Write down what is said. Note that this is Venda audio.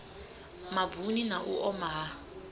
mavuni na u oma ha